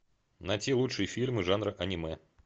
найти лучшие фильмы жанра аниме